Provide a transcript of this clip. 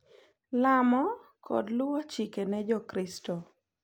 Llamo, kod luwo chike ne Jokristo.